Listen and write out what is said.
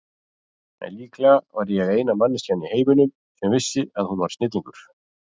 En líklega var ég eina manneskjan í heiminum sem vissi að hún var snillingur.